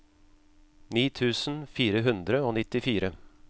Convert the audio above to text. ni tusen fire hundre og nittifire